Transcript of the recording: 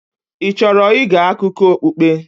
Ị chọrọ ịge akụkọ okpukpe?